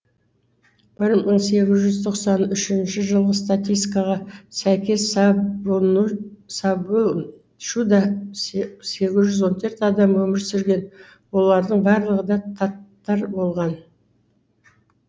бір мың сегіз жүз тоқсан үшінші жылғы статистикаға сәйкес сабунчуда сегіз жүз он төрт адам өмір сүрген олардың барлығы да таттар болған